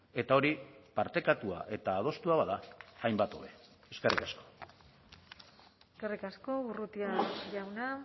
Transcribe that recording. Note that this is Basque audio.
eta hori partekatua eta adostua bada hainbat hobe eskerrik asko eskerrik asko urrutia jauna